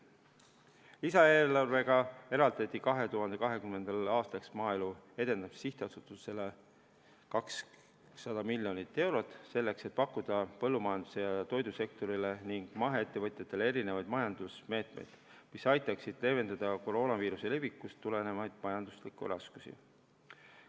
Lisaeelarvega eraldati 2020. aastaks Maaelu Edendamise Sihtasutusele 200 miljonit eurot, selleks et pakkuda põllumajandus- ja toidusektorile ning maheettevõtjatele erinevaid majandusmeetmeid, mis aitaksid leevendada koroonaviiruse levikust tulenevaid majanduslikke raskusi.